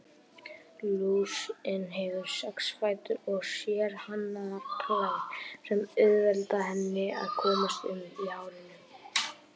Lúsin hefur sex fætur og sérhannaðar klær sem auðvelda henni að komast um í hárinu.